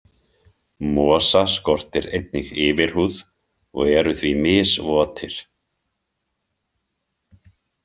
Mosa skortir einnig yfirhúð og eru því misvotir.